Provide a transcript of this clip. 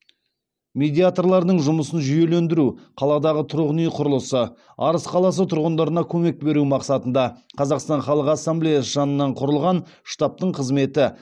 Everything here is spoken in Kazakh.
медиаторлардың жұмысын жүйелендіру қаладағы тұрғын үй құрылысы арыс қаласы тұрғындарына көмек беру мақсатында қазақстан халық ассамблеясы жанынан құрылған штабтың қызметі